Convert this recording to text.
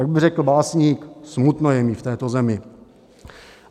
Jak by řekl básník, smutno je mi v této zemi.